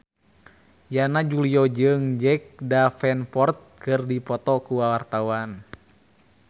Yana Julio jeung Jack Davenport keur dipoto ku wartawan